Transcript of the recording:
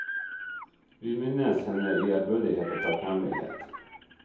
Vi minnes henne i ærbødighet og takknemlighet.